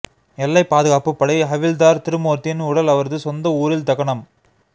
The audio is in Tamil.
எல்லை பாதுகாப்புப் படை ஹவில்தார் திருமூர்த்தியின் உடல் அவரது சொந்த ஊரில் தகனம்